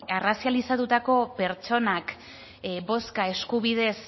arrazializatutako pertsonak bozka eskubidez